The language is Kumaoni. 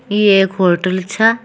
ये एक होटल छा--